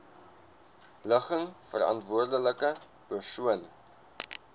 ligging verantwoordelike persoon